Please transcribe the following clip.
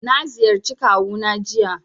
Na ziyarci kawu na jiya